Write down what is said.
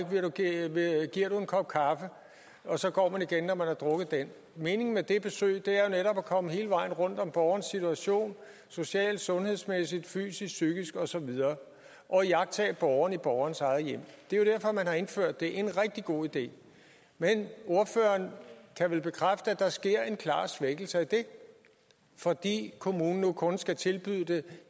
giver du en kop kaffe og så går man igen når man har drukket den meningen med det besøg er jo netop at komme hele vejen rundt om borgerens situation socialt sundhedsmæssigt fysisk psykisk og så videre og iagttage borgeren i borgerens eget hjem det er jo derfor man har indført det er en rigtig god idé men ordføreren kan vel bekræfte at der sker en klar svækkelse af det fordi kommunen nu kun skal tilbyde det